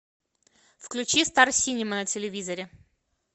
включи стар синема на телевизоре